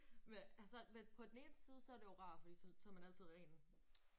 Men altså men på den eneste så er det jo rart fordi så så man altid ren